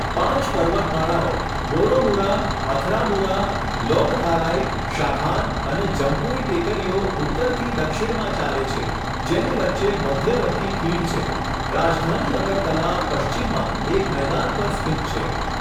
પાંચ પર્વતમાળાઓ બોરોમુરા, અથરામુરા, લોંગથારાઇ, શાખાન અને જમ્પુઇ ટેકરીઓ ઉત્તરથી દક્ષિણમાં ચાલે છે, જેની વચ્ચે મધ્યવર્તી ખીણ છે, રાજધાની અગરતલા પશ્ચિમમાં એક મેદાન પર સ્થિત છે.